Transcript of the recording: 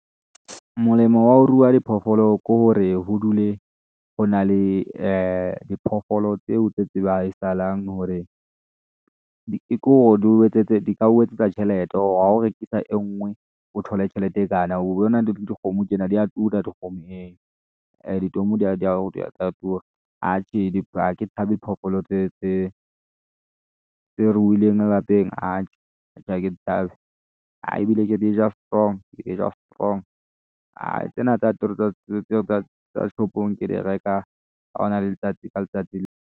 Molemo wa ho ruwa diphoofolo ko hore ho dule ho na le diphoofolo tseo tse tseba ha isalang hore di ka o etsetsa tjhelete hore ha o rekisa e ngwe o thole tjhelete e kana le dikgomo tjena di ya tura dikgomo ee, atjhe ha ke tshabe phoofolo tse ruilweng ka lapeng atjhe, ha ke di tshabe a ebile ke dija strong ke dija strong a tsena tsa shop-ong ke di reka hona letsatsi .